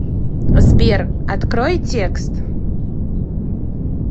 сбер открой текст